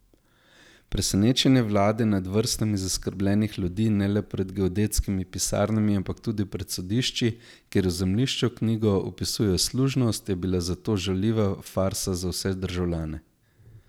Presenečenje vlade nad vrstami zaskrbljenih ljudi ne le pred geodetskimi pisarnami ampak tudi pred sodišči, kjer v zemljiško knjigo vpisujejo služnost, je bilo zato žaljiva farsa za državljane.